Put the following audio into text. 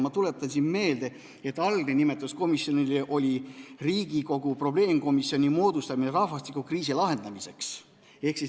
Ma tuletan meelde, et algne nimetus oli Riigikogu probleemkomisjoni moodustamine rahvastikukriisi lahendamiseks.